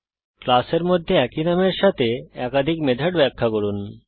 ক্লাসের মধ্যে একই নামের সাথে একাধিক মেথড ব্যাখ্যা করুন